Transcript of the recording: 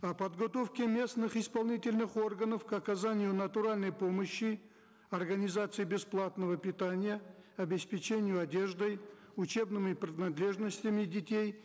о подготовке местных исполнительных органов к оказанию натуральной помощи организации бесплатного питания обеспечению одеждой учебными принадлежностями детей